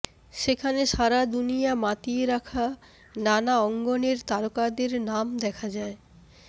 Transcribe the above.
সেখানে সারা দুনিয়া মাতিয়ে রাখা নানা অঙ্গনের তারকাদের নাম দেখা যায়